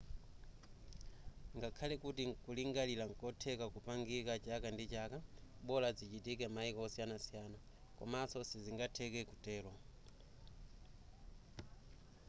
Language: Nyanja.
ngakhale kuti nkulingalira nkotheka kupangika chaka ndi chaka bola zichitike maiko osiyanasiyana koma sizingatheke kutero